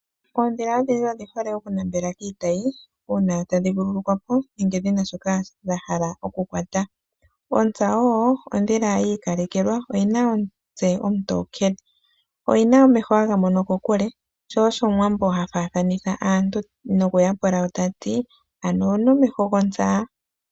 Oondhila adhihe odhi hole okunambela kiitayi uuna tadhi vululukwa po nenge dhina shoka dha hala okukwata. Ontsa woo ondhila yi ikalekelwa oyi na omutse omutokele, oyi na omeho haga mono kokule sho osho omuwambo ha faathanitha aantu nokuya pula woo tati: ano owu na omeho gontsa?